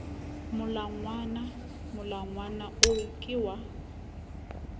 molangwana molangwana oo ke wa